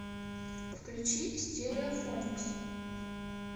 включи стереофоникс